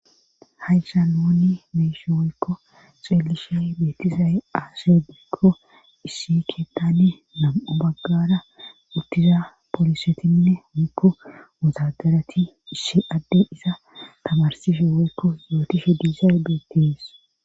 Haysha nooni meshi woykko xueelishe beetizay aasedeikko issi keettani nam'o baggara uttiza poolisetinne onkko mutadarati issi adde isa tamarsife woykko yootishe diisay beetees.